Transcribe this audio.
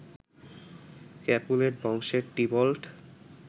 Capulet বংশের Tybalt